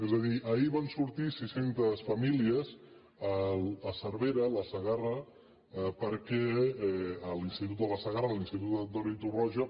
és a dir ahir van sortir sis centes famílies a cervera a la segarra perquè a l’institut de la segarra a l’institut antoni torroja